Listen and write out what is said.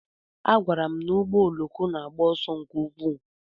A gwara m na ụgbọ oloko na-agba ọsọ nke ukwuu.